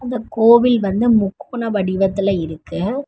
இந்த கோவில் வந்து முக்கோண வடிவத்துல இருக்கு.